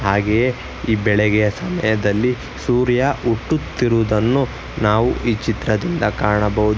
ಹಾಗೆಯೇ ಈ ಬೆಳೆಗೆಯ ಸಮಯದಲ್ಲಿ ಸೂರ್ಯ ಹುಟ್ಟುತ್ತಿರುವುದ್ದನ್ನು ನಾವು ಈ ಚಿತ್ರದಿಂದ ಕಾಣಬಹುದು.